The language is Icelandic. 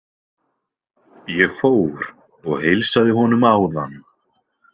Ég fór og heilsaði honum áðan.